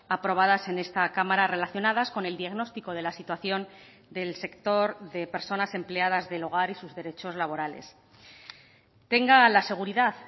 aprobadas en esta cámara relacionadas con el diagnóstico de la situación del sector de personas empleadas del hogar y sus derechos laborales tenga la seguridad